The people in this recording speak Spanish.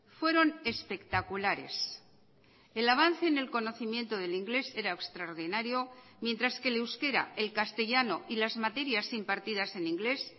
fueron espectaculares el avance en el conocimiento del inglés era extraordinario mientras que el euskera el castellano y las materias impartidas en inglés